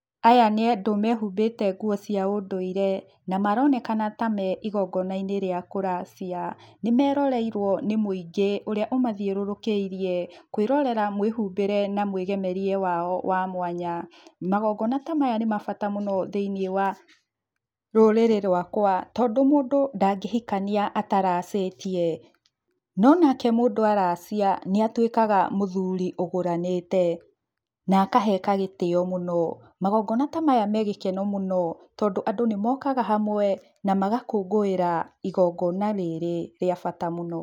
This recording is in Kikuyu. Aya nĩ andũ mehumbĩte nguo cia ũndũire na maronekana ta me igongona-inĩ rĩa kũracia, nĩ meroreirwo nĩ mũingĩ ũrĩa ũmathiũrũrũkĩirie, kwĩrorera mwĩhumbĩre na mwĩgemĩerie wao wa mwanya, magongona ta maya nĩ bata mũno thĩinĩ wa rũrĩrĩ rwakwa, tondũ mũndũ ta ngĩhikania ataracĩtie, no nake mũndũ aracia nĩ atuĩkaga mũthuri ũgũranĩte na akaheka gĩtĩo mũno, magongona ta maya megĩkeno mũno tondũ andũ nĩ mokaga hamwe na magakũngũĩra igongona rĩrĩ rĩa bata mũno